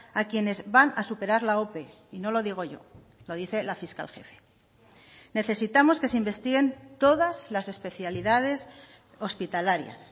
a quienes van a superar la ope y no lo digo yo lo dice la fiscal jefe necesitamos que se investiguen todas las especialidades hospitalarias